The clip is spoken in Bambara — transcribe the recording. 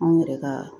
Anw yɛrɛ ka